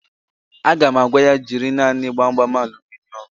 Aga m agwa ya, jiri naanị Gbamgbam aluminịọmụ